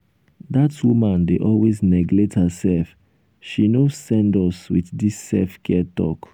dat woman dey always neglect herself she no send us wit dis self-care talk.